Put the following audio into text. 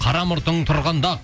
қара мұртың тұрғанда